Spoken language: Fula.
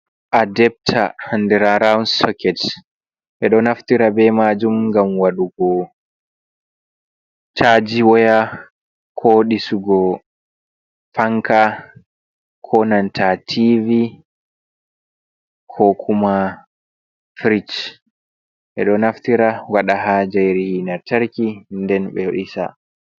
Adebta, andira rawon sokket, ɓeɗon naftira bei majun ngam waɗugo caaji woya, ko ɗisugo fanka, ko nanta tivi, ko kuma firish, ɓeɗo naftira waɗa ha njayri lantarki nden ɓe ɗisa.